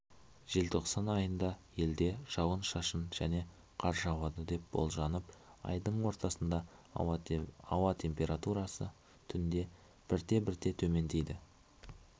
желтоқсан айында елде жауын-шашын және қар жауады деп болжанып айдың ортасында ауа температурасы түнде бірте-бірте төмендейді